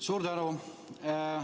Suur tänu!